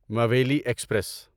مویلی express